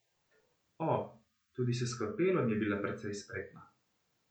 O, tudi s skalpelom je bila precej spretna.